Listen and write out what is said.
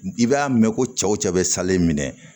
I b'a mɛn ko cɛw cɛ bɛ salen minɛ